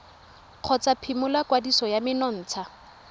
kgotsa phimola kwadiso ya menontsha